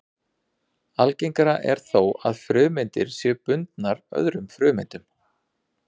Algengara er þó að frumeindir séu bundnar öðrum frumeindum.